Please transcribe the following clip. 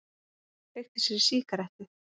Kveikti sér í sígarettu.